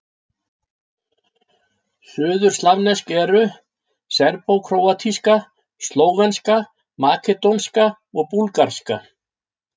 Suðurslavnesk eru: serbókróatíska, slóvenska, makedónska og búlgarska.